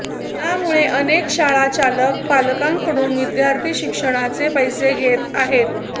त्यामुळे अनेक शाळाचालक पालकांकडून विद्यार्थी शिक्षणाचे पैसे घेत आहेत